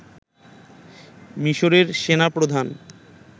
মিসরের সেনাপ্রধান